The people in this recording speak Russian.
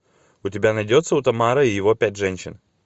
у тебя найдется утамаро и его пять женщин